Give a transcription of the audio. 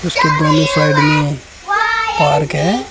उसके दोनों साइड में पार्क है।